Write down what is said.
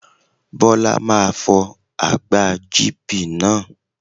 Bọ́lá máa fọ àgbá GP náà.